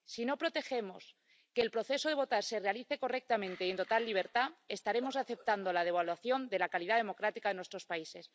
Si no protegemos que el proceso de votar se realice correctamente y en total libertad, estaremos aceptando la devaluación de la calidad democrática en nuestros países.